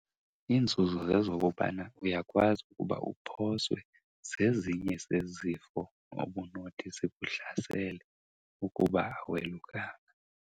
Iinzuzo zezokobana uyakwazi ukuba uphoswe zezinye zezifo obunothi zikuhlasele ukuba awelukanga.